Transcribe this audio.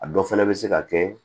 A dɔ fana bɛ se ka kɛ